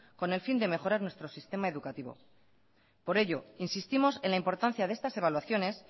con el fin de mejorar nuestro sistema educativo por ello insistimos en la importancia de estas evaluaciones